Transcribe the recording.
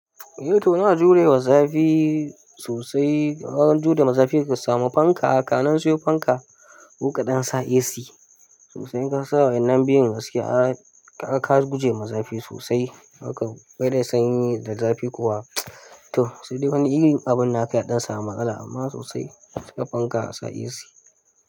Eh to ana jurewa zafi sosai. Wajen jure ma zafi ka samu fanka, ka nan sayo fanka, koka ɗansa AC sosai. In kasa wannan biyun gaskeiya aka ka gujema zafi sosai. Aka kaida sanyi da zafi kuwa to sai dai wani irin abinnaka ya ɗan samu matsala amma sosai ga fanka asa AC.